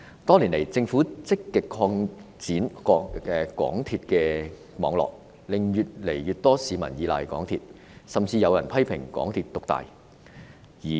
多年來，政府積極擴展港鐵網絡，令越來越多市民依賴港鐵，甚至有人批評港鐵獨大。